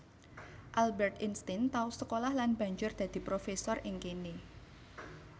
Albert Einstein tau sekolah lan banjur dadi profesor ing kéné